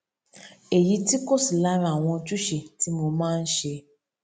èyí tí kò sí lára àwọn ojúṣe tí mo máa n ṣe